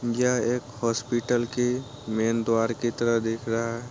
यह एक हॉस्पिटल कि मैन द्वार की तरह दिख रहा है।